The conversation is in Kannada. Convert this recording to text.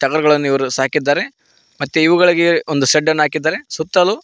ಟಗರುಗಳನ್ನು ಇವ್ರು ಸಾಕಿದ್ದಾರೆ ಮತ್ತೆ ಇವುಗಳಿಗೆ ಒಂದು ಶೆಡ್ಡ ನ್ನು ಹಾಕಿದ್ದಾರೆ ಸುತ್ತಲೂ--